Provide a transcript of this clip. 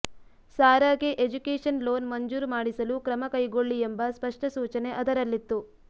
ಸಾರಾಗೆ education loan ಮಂಜೂರು ಮಾಡಿಸಲು ಕ್ರಮ ಕೈಗೊಳ್ಳಿ ಎಂಬ ಸ್ಪಷ್ಟ ಸೂಚನೆ ಅದರಲ್ಲಿತ್ತು